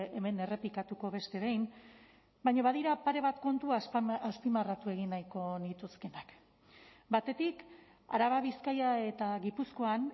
hemen errepikatuko beste behin baina badira pare bat kontu azpimarratu egin nahiko nituzkeenak batetik araba bizkaia eta gipuzkoan